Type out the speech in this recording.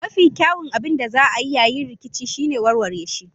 Mafi kyawun abin da za a yi yayin rikici shine warware shi.